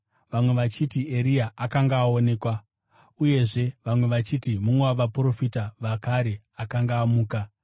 vamwe vachiti Eria akanga aonekwa, uyezve vamwe vachiti mumwe wavaprofita vakare akanga amuka.